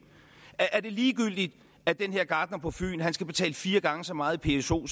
er det ligegyldigt at den her gartner på fyn skal betale fire gange så meget i pso